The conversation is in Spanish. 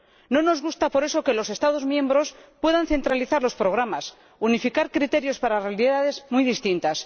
No nos gusta, por eso, que los Estados miembros puedan centralizar los programas y unificar criterios para realidades muy distintas.